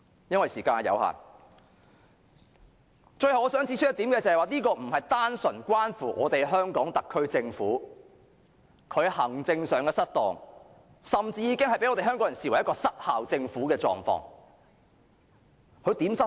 由於時間有限，我最後想指出一點，這不是單純關乎香港特區政府行政失當，而是甚至已被香港人視為政府管治失效。